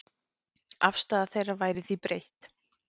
Afstaða þeirra væri því breytt.